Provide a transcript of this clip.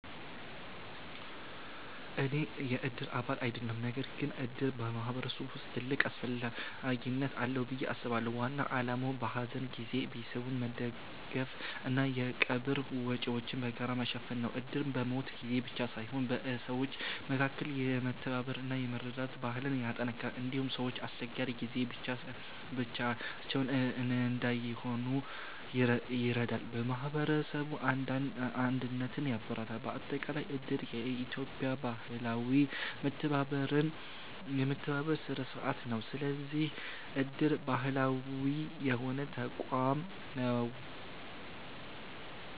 እኔ የእድር አባል አይደለሁም። ነገር ግን እድር በማህበረሰብ ውስጥ ትልቅ አስፈላጊነት አለው ብዬ አስባለሁ። ዋና ዓላማው በሐዘን ጊዜ ቤተሰቦችን መደገፍ እና የቀብር ወጪዎችን በጋራ መሸፈን ነው። እድር በሞት ጊዜ ብቻ ሳይሆን በሰዎች መካከል የመተባበር እና የመረዳዳት ባህልን ያጠናክራል። እንዲሁም ሰዎች በአስቸጋሪ ጊዜ ብቻቸውን እንዳይሆኑ ይረዳል፣ የማህበረሰብ አንድነትን ያበረታታል። በአጠቃላይ እድር የኢትዮጵያ ባህላዊ የመተባበር ስርዓት ነው። ስለዚህ እድር ባህላዊ የሆነ ተቋም ነው።